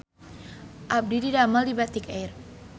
Abdi didamel di Batik Air